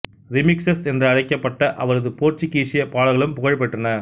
ரிமிக்ஸஸ் என்று அழைக்கப்பட்ட அவரது போர்த்துக்கீஸிய பாடல்களும் புகழ் பெற்றன